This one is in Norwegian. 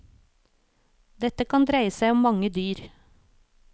Dette kan dreie seg om mange dyr.